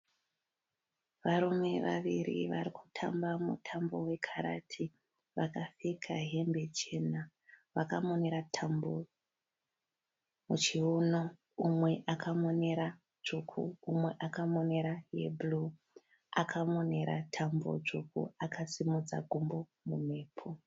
Varume vaviri vari kutamba mutambo wekarati. Vakapfeka hembe chena vakamonera tambo muchiuno. Umwe akamonera tsvuku umwe akamonera yebhuru. Akamonera tambo tsvuku akasimudza gumbo mumhepo.